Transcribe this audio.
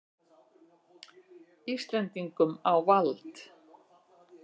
Íslendingum á vald.